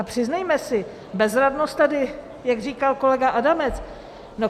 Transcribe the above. A přiznejme si bezradnost tady, jak říkal kolega Adamec.